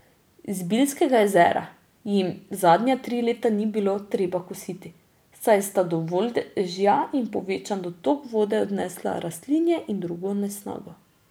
Zbiljskega jezera jim zadnja tri leta ni bilo treba kositi, saj sta dovolj dežja in povečan dotok vode odnesla rastlinje in drugo nesnago.